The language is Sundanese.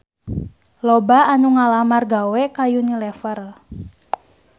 Loba anu ngalamar gawe ka Unilever